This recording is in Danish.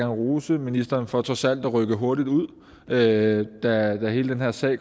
rose ministeren for trods alt at rykke hurtigt ud da da hele den her sag